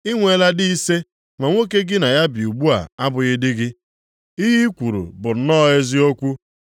I nweela di ise, ma nwoke gị na ya bi ugbu a abụghị di gị. Ihe kwuru bụ nnọọ eziokwu.” + 4:18 Omume a megidere iwu Chineke banyere ọlụlụ di na nwunye.